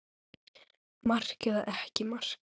Mark eða ekki mark?